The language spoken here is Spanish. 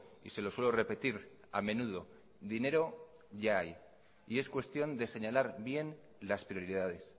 y se lo suelo repetir a menudo dinero ya hay y es cuestión de señalar bien las prioridades